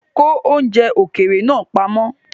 Ko oúnjẹ ókéré naa pamọ́!